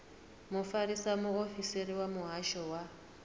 mufarisa muofisiri wa muhasho wa